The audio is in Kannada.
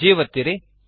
G ಒತ್ತಿರಿ